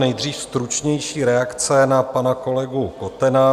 Nejdřív stručnější reakce na pana kolegu Kotena.